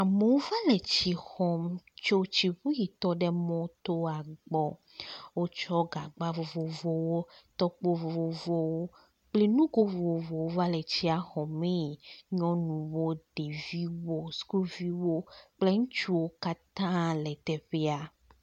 Amewo va le tsi xɔm tsi tsiŋu yi tɔ ɖe mɔtoa gbɔ. Wotsɔ gagba vovovowo, tɔkpo vovovowo kple nugo vovovowo va le tsia xɔmee. Nyɔnuwo, ɖeviwo, sukuviwo kple ŋutsuwo katã le teƒea.